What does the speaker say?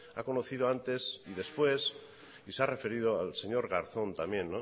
ha conocido antes y después y se ha referido al señor garzón también